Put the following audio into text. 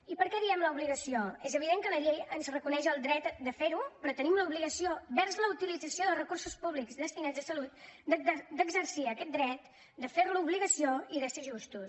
i per què diem l’ obligació és evident que la llei ens reconeix el dret de fer ho però tenim l’obligació vers la utilització de recursos públics destinats a salut d’exercir aquest dret de fer lo obligació i de ser justos